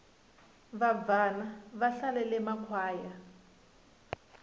vabvana va hlalele makhwaya